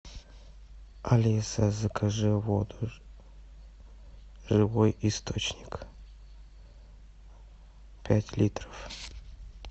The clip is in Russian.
алиса закажи воду живой источник пять литров